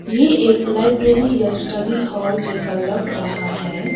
ये एक लाइब्रेरी या स्टडी हॉल जैसा लग रहा है।